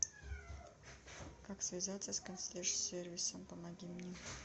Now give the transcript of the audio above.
как связаться с консьерж сервисом помоги мне